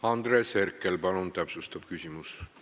Andres Herkel, palun täpsustav küsimus!